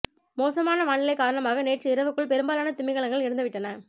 மோசமான வானிலை காரணமாக நேற்று இரவுக்குள் பெரும்பாலான திமிங்கலங்கள் இறந்து விட்டன